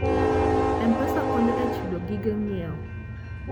M-Pesa konyo e chulo gige ng'iewo.